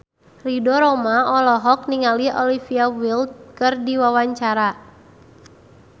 Ridho Roma olohok ningali Olivia Wilde keur diwawancara